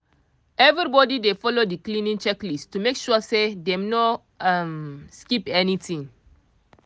everybody dey follow the cleaning checklist to make sure say dem no um skip anyting